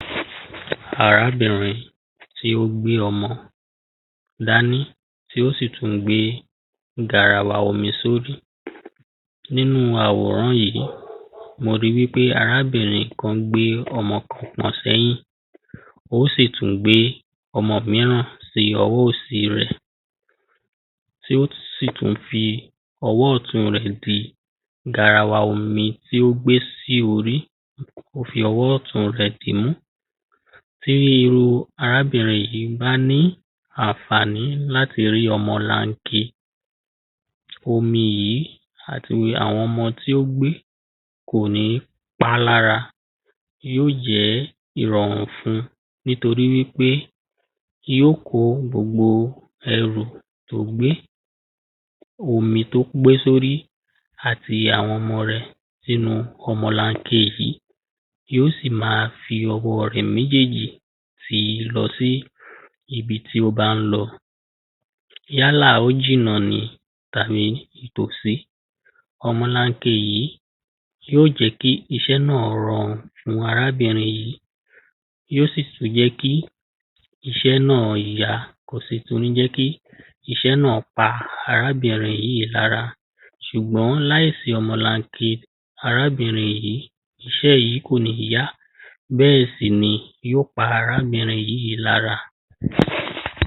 arábìnrin tí ó gbé ọmọ dání tí ó sì tún gbé garawa omi sórí nínú àwòrán yìí, mo ri wípé arábìnrin kan gbé ọmọ kan sí ẹ̀yìn ó sì tún gbé ọmọ míràn sí ọwọ́ òsì rẹ̀ tí ó sì tún fi ọwọ́ ọ̀tún rẹ̀ di garawa omi tí ó gbé sí orí ó fi ọwọ́ ọ̀tún rẹ̀ dìímú tí irúu arábìnrin yìí bá ní àǹfààní láti rí ọmọlanke omi yí àti àwọn ọmọ tí ó gbé kòní pálára yóò jẹ́ ìrọ̀rùn fun nítorí wípé yóò kó gbogbo ẹrù tó gbé, omi tó gbé sórí àti àwọn ọmọ rẹ̀ sínu ọmọlanke yí yóò sì máa fi ọwọ́ rẹ̀ méjéèjì tìí lọ sí ibi tí ó bá ń lọ yálà ó jìnnà ni tàbí nítòsí ọmọlanke yìí yóò jẹ́ kí iṣẹ́ náà rọrùn fún arábìnrin yí yóò sì tún jẹ́ kí iṣẹ́ náà yá, kò sì tún ní jẹ́ kí isẹ́ náà pa arábìnrin yí lára sùgbọ́n láìsí ọmọlanke arábìnrin yí iṣẹ́ yí kò ní yá bẹ́ẹ̀sì ni yóò pa arábìnrin yí lára